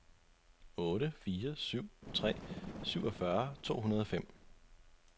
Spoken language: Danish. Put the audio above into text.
otte fire syv tre syvogfyrre to hundrede og fem